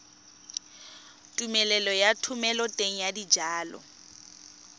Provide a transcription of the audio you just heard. tumelelo ya thomeloteng ya dijalo